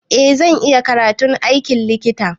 Eh zan iya karatun aikin likita.